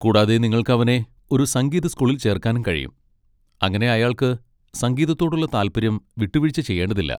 കൂടാതെ നിങ്ങൾക്ക് അവനെ ഒരു സംഗീത സ്കൂളിൽ ചേർക്കാനും കഴിയും, അങ്ങനെ അയാൾക്ക് സംഗീതത്തോടുള്ള താൽപര്യം വിട്ടുവീഴ്ച ചെയ്യേണ്ടതില്ല.